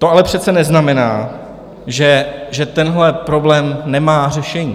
To ale přece neznamená, že tenhle problém nemá řešení.